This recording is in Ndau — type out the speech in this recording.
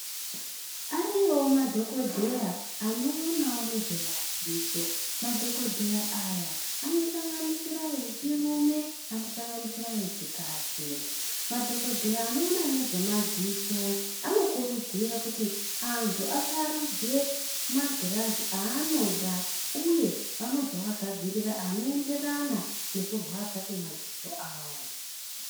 Ariyowo madhokodheya anoonawo nezvemadziso madhokodheya aya anosanganisirawo echirume anosanganisira echikadzi madhokodheya anoona nezvemadziso anokurudzira kuti anthu asarudze magirazi aanoda uye anozooagadzirira anoenderana nekurwadza kwemadziso awo.